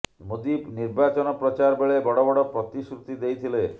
ମୋଦି ନିର୍ବାଚନ ପ୍ରଚାର ବେଳେ ବଡ ବଡ ପ୍ରତିଶ୍ରୃତି ଦେଇଥିଲେ